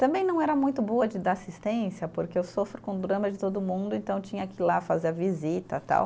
Também não era muito boa de dar assistência porque eu sofro com o drama de todo mundo, então tinha que ir lá fazer a visita tal.